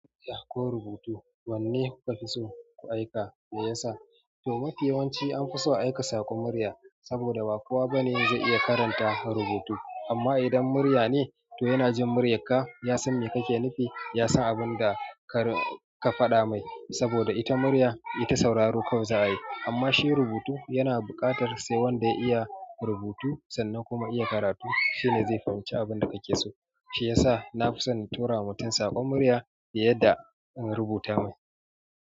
Murya ko rubutu wanne kuka fi so ku aika me yasa? To mafi yawanci an fi so aika saƙon murya saboda ba kowa bane zai iya karanta rubutu amma idan murya ne to yana jin muryarka ya san me kake nufi ya san abunda ka faɗa mai saboda ita murya ita sauraro kawai za a yi. Amma shi rubutu yana buƙatar sai wanda ya iya rubutu sannan kuma iya karatu shine zai fahimci abinda kake so shiyasa nafi son na tura wa mutum saƙon murya fiye da in rubuta mai.